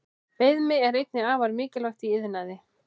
Beðmi er einnig afar mikilvægt í iðnaði.